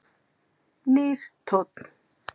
Nýr tónn